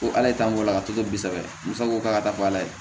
Ko ala t'an bɔ ka to ten kosɛbɛ musa ko k'a ka taa fɔ ala ye